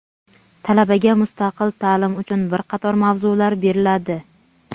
Talabaga mustaqil taʼlim uchun bir qator mavzular beriladi.